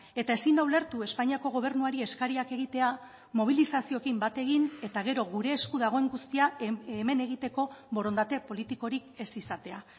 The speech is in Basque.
eta ezin da ulertu espainiako gobernuari eskariak egitea mobilizazioekin bat egin eta gero gure esku dagoen guztia hemen egiteko borondate politikorik ez izatea